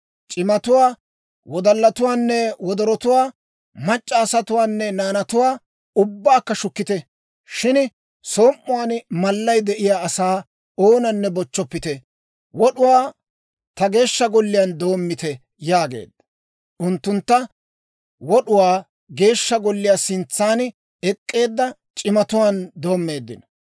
C'imatuwaa, wodallatuwaanne wodorotuwaa, mac'c'a asatuwaanne naanatuwaa ubbaakka shukkite; shin som"uwaan malay de'iyaa asaa oonanne bochchoppite. Wod'uwaa ta Geeshsha Golliyaan doommite» yaageedda. Unttuntta wod'uwaa Geeshsha Golliyaa sintsaan ek'k'eedda c'imatuwaan doommeeddino.